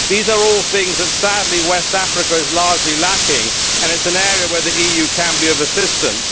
These are all things that, sadly, West Africa is largely lacking and it is an area where the EU can be of assistance.